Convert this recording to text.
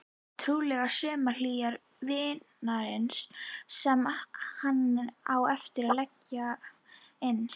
Trúlega sumarhýra vinarins sem hann á eftir að leggja inn.